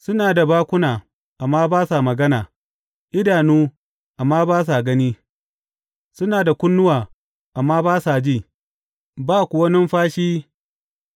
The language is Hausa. Suna da bakuna, amma ba sa magana, idanu, amma ba sa gani; suna da kunnuwa, amma ba sa ji, ba kuwa numfashi